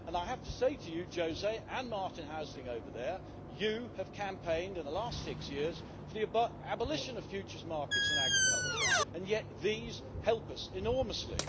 I have to say to you José and Martin Häusling over there that you have campaigned in the last six years for the abolition of futures markets in agriculture, and yet these help us enormously.